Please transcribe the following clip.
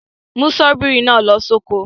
Mú ṣọ́bìrì náà lọ sóko.